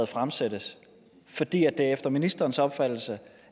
fremsat fordi det efter ministerens opfattelse